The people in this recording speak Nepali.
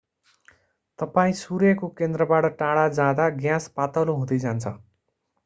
तपाईं सूर्यको केन्द्रबाट टाढा जाँदा ग्यास पातलो हुँदै जान्छ